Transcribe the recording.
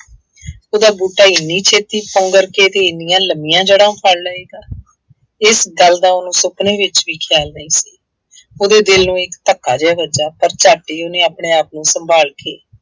ਉਹਦਾ ਬੂਟਾ ਐਨੀ ਛੇਤੀ ਪੁੰਗਰ ਕੇ ਅਤੇ ਐਨੀਆਂ ਲੰਬੀਆਂ ਜੜ੍ਹਾ ਫੜ੍ਹ ਲਏਗਾ, ਇਸ ਗੱਲ ਦਾ ਉਹਨੂੰ ਸੁਪਨੇ ਵਿੱਚ ਵੀ ਖਿਆਲ ਨਹੀਂ ਸੀ। ਉਹਦੇ ਦਿਲ ਨੂੰ ਇੱਕ ਧੱਕਾ ਜਿਹਾ ਵੱਜਾ, ਪਰ ਝੱਟ ਹੀ ਉਹਨੇ ਆਪਣੇ ਆਪ ਨੂੰ ਸੰਭਾਲ ਕੇ